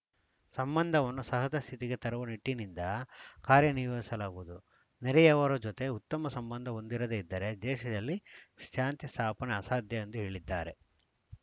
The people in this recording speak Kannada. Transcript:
ಸಂಬಂಧವನ್ನು ಸಹಜಸ್ಥಿತಿಗೆ ತರುವ ನಿಟ್ಟಿನಿಂದ ಕಾರ್ಯನಿರ್ವಹಿಸಲಾಗುವುದು ನೆರೆಯವರ ಜೊತೆ ಉತ್ತಮ ಸಂಬಂಧ ಹೊಂದಿರದೇ ಇದ್ದರೆ ದೇಶದಲ್ಲಿ ಶಾಂತಿ ಸ್ಥಾಪನೆ ಅಸಾಧ್ಯ ಎಂದು ಹೇಳಿದ್ದಾರೆ